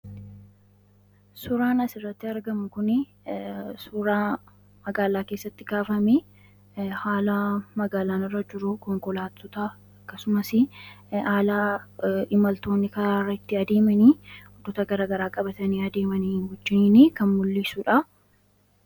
Suuraan asirratti argamu kun suuraa magaalaa keessatti kaafamee fi haala magaalaan irra jiru, konkolaattota akkasumas haala imaltoonni karaa irra ittiin adeeman bakka gara garaa qabatanii deeman wajjin kan mu'isu dha.